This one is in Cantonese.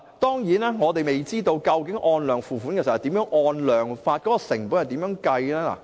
當然，我們未知道究竟如何"按量付款"，當中的成本是怎樣計算？